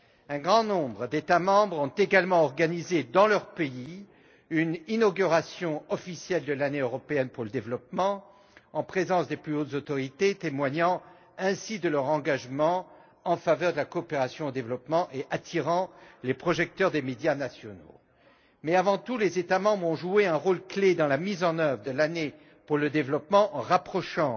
Un grand nombre d'États membres ont également organisé dans leur pays une inauguration officielle de l'Année européenne pour le développement, en présence des plus hautes autorités, témoignant ainsi de leur engagement en faveur de la coopération au développement et attirant les projecteurs des médias nationaux. Mais, avant tout, les États membres ont joué un rôle clé dans la mise en œuvre de l'Année européenne pour le développement en rapprochant